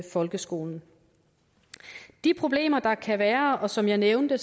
folkeskolen de problemer der kan være og som jeg nævnte